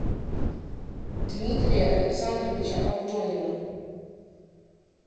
дмитрия александровича авдонина